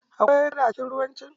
Akwai kada a cikin ruwan can.